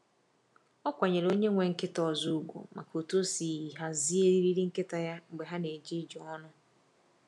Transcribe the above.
Ọ kwanyeere onye nwe nkịta ọzọ ugwu maka otú o si hazie eriri nkịta ya mgbe ha na-eje ije ọnụ.